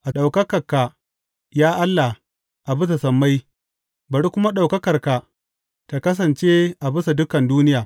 A ɗaukaka ka, ya Allah, a bisa sammai, bari kuma ɗaukakarka ta kasance a bisa dukan duniya.